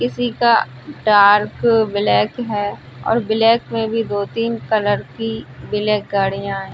किसी का truck black है और ब्लैक में भी दो-तीन कलर की ब्लैक गाड़ियां हैं।